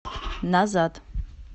назад